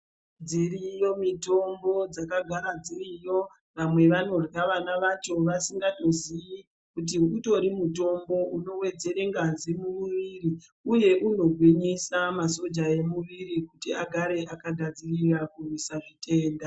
Dziriyo mitombo dzakagara dziriyo vamwe vanorya vana vacho vasingatozii kuti utori mutombo uno wedzere ngazi mu muviri uye uno ngwinyisa masoja e muviri kuti agare aka gadzirira kurwisa zvitenda.